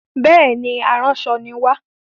Bẹẹni, aránṣọ ni wa.